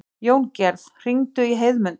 Jóngerð, hringdu í Heiðmund.